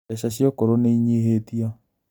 Mbeca cia akũrũ nĩinyihĩtio